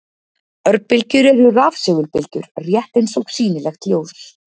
Örbylgjur eru rafsegulbylgjur, rétt eins og sýnilegt ljós.